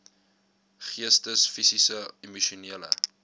geestes fisiese emosionele